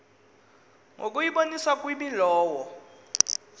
ngokuyiboniswa kwimi lowo